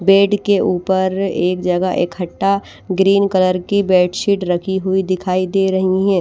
Bed के ऊपर एक जगह इकट्ठा ग्रीन कलर की बेड शीट रखी हुई दिखाई दे रही हैं।